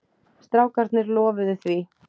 Strákarnir lofuðu því.